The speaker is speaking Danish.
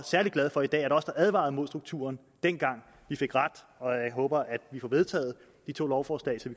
særlig glad for i dag at os der advarede mod strukturen dengang fik ret og jeg håber at vi får vedtaget de to lovforslag så